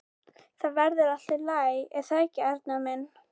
Þetta verður allt í lagi, er það ekki, Arnar minn?